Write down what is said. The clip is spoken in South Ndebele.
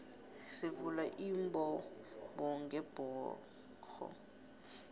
sivula imbobongebhoxo